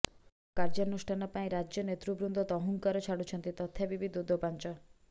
ଦୃଢ କାର୍ଯ୍ୟାନୁଷ୍ଠାନ ପାଇଁ ରାଜ୍ୟ ନେତୃବୃନ୍ଦ ତହୁଂକାର ଛାଡୁଛନ୍ତି ତଥାପି ବି ଦୋ ଦୋ ପାଞ୍ଚ